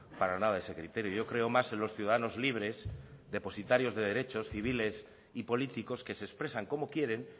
para nada ese criterio yo creo más en los ciudadanos libres depositarios de derechos civiles y políticos que se expresan como quieren